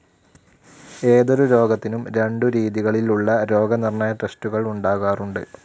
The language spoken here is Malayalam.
ഏതൊരു രോഗത്തിനും രണ്ടു രീതികളിൽ ഉള്ള രോഗനിർണയ ടെസ്റ്റുകൾ ഉണ്ടാകാറുണ്ട്.